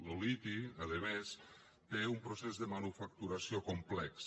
lo liti a més té un procés de manufactura complex